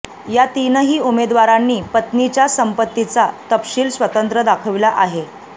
या तीनही उमेदवारांनी पत्नीच्या संपत्तीचा तपशील स्वतंत्र दाखविला आहे